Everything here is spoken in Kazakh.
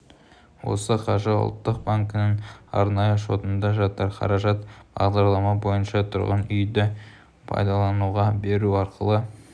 осы қаржы ұлттық банкінің арнайы шотында жатыр қаражат бағдарлама бойынша тұрғын үйді пайдалануға беру арқылы